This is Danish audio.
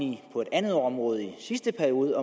det på et andet område i sidste periode